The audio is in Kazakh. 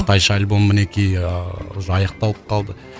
қытайша альбом мінекей аяқталып қалды